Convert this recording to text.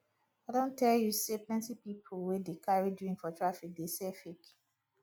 i don tell you sey plenty pipu wey dey carry drink for traffic dey sell fake